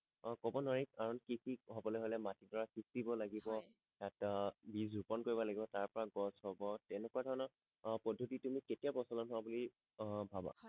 অ কবলে নোৱাৰি কাৰণ কৃষি হবলে হলে মাটি দৰা সিছিব লাগিব হয় তাত বীজ ৰোপন কৰিব লাগিব তাৰ পৰা গছ হব তেনেকুৱা ধৰণৰ আহ পদ্ধতি তুমি কেতিয়া প্ৰচলন হোৱা বুলি আহ ভাবা হয়